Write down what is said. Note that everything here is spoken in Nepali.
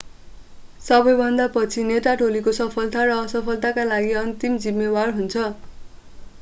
सबैभन्दा पछि नेता टोलीको सफलता र असफलताका लागि अन्तिम जिम्मेवार हुन्छ